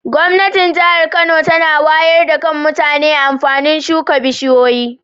Gwamnatin jahar Kano tana wayar da Kan mutane amfanin suka bishiyoyi.